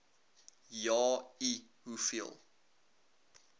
ja i hoeveel